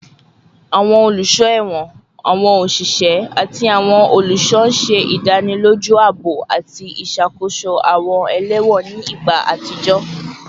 Awọn oluso ẹwọn, awọn oṣiṣẹ, ati awọn oluṣọ ṣe idaniloju aabo ati iṣakoso awọn ẹlẹwọn ni igba atijọ